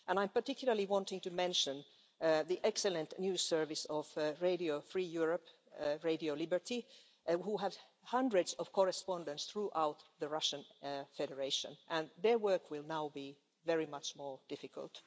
I'm particularly wanting to mention the excellent news service of Radio Free Europe, Radio Liberty, who have hundreds of correspondents throughout the Russian Federation, and their work will now be very much more difficult.